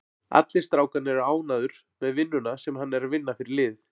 Allir strákarnir eru ánægður með vinnuna sem hann er að vinna fyrir liðið.